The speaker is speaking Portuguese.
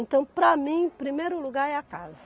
Então, para mim, primeiro lugar é a casa.